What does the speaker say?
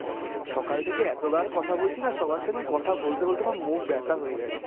সকাল থেকে এতবার কথা বলছিনা সবার সঙ্গে, কথা বলতে বলতে আমার মুখ ব্যাথা হয়ে গেছে।